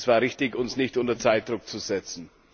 Es war richtig, uns nicht unter Zeitdruck zu setzen.